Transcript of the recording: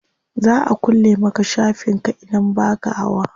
Za a kulle maka shafin ka idan baka hawa.